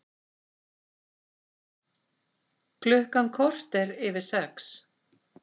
Klukkan korter yfir sex